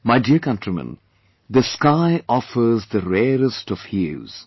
My dear countrymen, the sky offers the rarest of hues